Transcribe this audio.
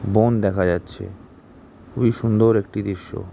বন দেখা যাচ্ছে। খুব এই সুন্দর একটি দৃশ্য।